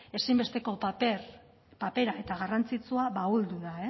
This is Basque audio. ezinbesteko papera eta garrantzitsua ahuldu da